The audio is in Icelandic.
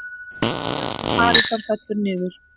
Flug til Parísar fellur niður